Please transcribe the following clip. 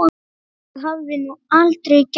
Það hafði hún aldrei gert.